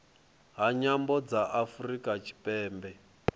ha nyambo dza afurika tshipembe